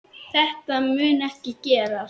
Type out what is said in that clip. Þetta mun ekki gerast.